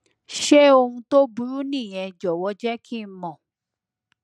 ṣé ohun tó burú nìyẹn jọwọ jẹ kí n mọ